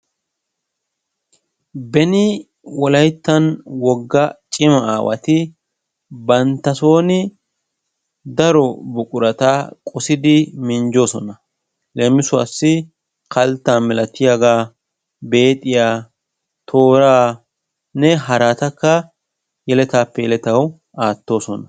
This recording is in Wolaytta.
Beni Wolayttaani wogga cima aawati bantta sooni daro buqurata qosidi minjjoosona. Leemisuwassi: kalttaa milayiyagaa, beexiya, tooraanne haraatakka yeletaappe yeletawu aattoosona.